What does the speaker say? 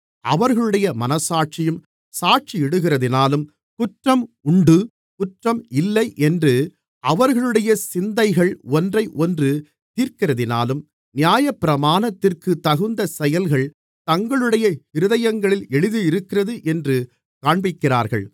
அவர்களுடைய மனச்சாட்சியும் சாட்சியிடுகிறதினாலும் குற்றம் உண்டு குற்றம் இல்லை என்று அவர்களுடைய சிந்தனைகள் ஒன்றை ஒன்று தீர்க்கிறதினாலும் நியாயப்பிரமாணத்திற்கு தகுந்த செயல்கள் தங்களுடைய இருதயங்களில் எழுதியிருக்கிறது என்று காண்பிக்கிறார்கள்